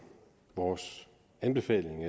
vores anbefaling